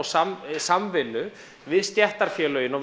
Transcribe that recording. samvinnu við stéttarfélögin og